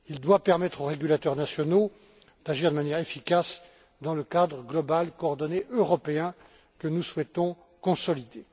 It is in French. Il doit permettre aux régulateurs nationaux d'agir de manière efficace, dans le cadre global et coordonné européen que nous souhaitons consolider.